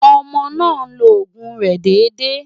Ọmọ náà ń lo òògùn rẹ̀ déédé.